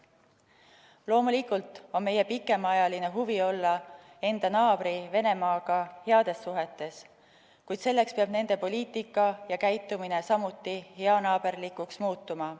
Loomulikult on meie pikemaajaline huvi olla enda naabri Venemaaga heades suhetes, kuid selleks peab nende poliitika ja käitumine samuti heanaaberlikuks muutuma.